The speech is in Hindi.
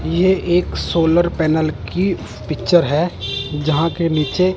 ये एक सोलर पैनल की पिक्चर है जहां के नीचे--